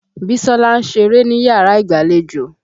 Bísọ́lá ń ṣeré níyàrá ìgbàlejò.